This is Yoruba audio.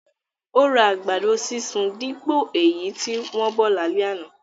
Ó ra àgbàdo sísun dípò èyí tí wọ́n bọ̀ lálẹ́ àná